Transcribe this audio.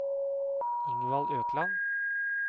Ingvald Økland